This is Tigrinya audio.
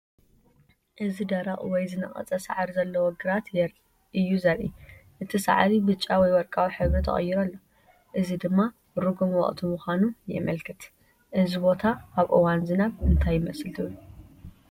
እዚ ደረቕ ወይ ዝነቐጸ ሳዕሪ ዘለዎ ግራት እዩ ዘርኢ። እቲ ሳዕሪ ብጫ ወይ ወርቃዊ ሕብሪ ተቐይሩ ኣሎ፣ እዚ ድማ ርጉም ወቕቲ ምዃኑ የመልክት። እዚ ቦታ ኣብ እዋን ዝናብ እንታይ ይመስል ትብሉ?